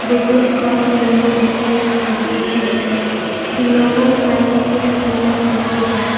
The green cross symbol indicates medical services the logo smiling teeth represent dental care.